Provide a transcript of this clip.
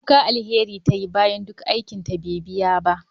Kuka Alheri tayi bayan duk aikinta bai biya ba.